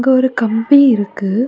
இங்க ஒரு கம்பி இருக்கு.